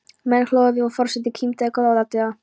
Menn hlógu við og forseti kímdi góðlátlega.